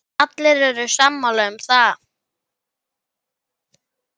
Allir eru sammála um það.